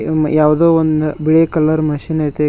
ಯಾವುದೋ ಒಂದು ಬಿಳೆ ಕಲರ್ ಮಷೀನ್ ಇದೆ.